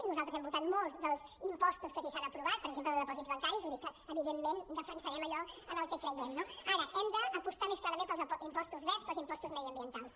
nosaltres hem votat molts dels impostos que aquí s’han aprovat per exemple el de dipòsits bancaris vull dir que evidentment defensarem allò en el que creiem no ara hem d’apostar més clarament pels impostos verds pels impostos mediambientals